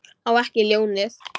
Á ekki ljónið.